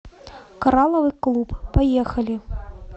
коралловый клуб поехали